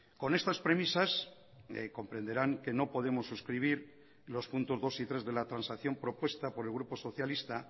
con estas premisas comprenderán que no podemos suscribir los puntos dos y tres de la transacción propuesta por el grupo socialista